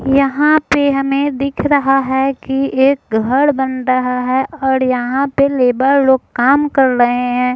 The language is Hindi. यहाँ पर हमें दिख रहा है कि एक घर बन रहा है और यहाँ पे लेबर लोग काम कर रहे हैं।